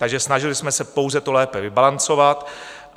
Takže snažili jsme se pouze to lépe vybalancovat.